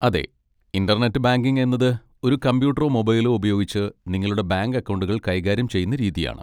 അതെ, internet banking എന്നത് ഒരു കമ്പ്യൂട്ടറോ മൊബൈലോ ഉപയോഗിച്ച് നിങ്ങളുടെ ബാങ്ക് അക്കൗണ്ടുകൾ കൈകാര്യം ചെയ്യുന്ന രീതിയാണ്.